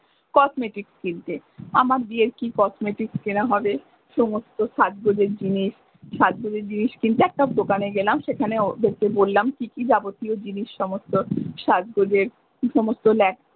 cosmetics কিনতে আমার বিয়ের কি cosmetics কেনা হবে সমস্ত সাজ গজের জিনিস সাজ গজের জিনিস কিনতে একটা দোকানে গেলাম সেখানে বললাম কি কি যাবতীয় জিনিস সমস্ত সাজগোজের কি সমস্ত।